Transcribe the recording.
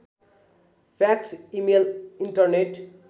fax email internet